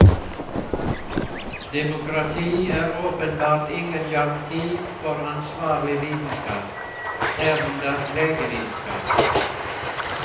Demokrati er åpenbart ingen garanti for ansvarlig vitenskap, herunder legevitenskap.